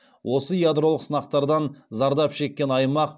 осы ядролық сынақтардан зардап шеккен аймақ